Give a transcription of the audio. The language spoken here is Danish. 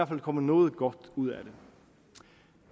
fald kommet noget godt ud af